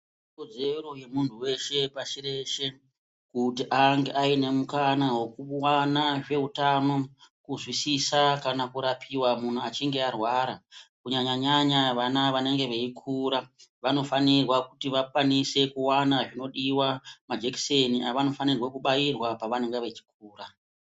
Ikodzero yemuntu weshe, pashireshe kuti ange aine mukana wekuwana zveutano, kuzwisisa kana kurapiwa muntu achinge arwara, kunyanya-nyanya vana vanenge veikura, vanofanira kuti vakwanise kuwana zvinodiwa, majekiseni avanofanira kubaiwa pavanenge vachikura.